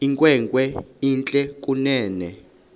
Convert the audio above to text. inkwenkwe entle kunene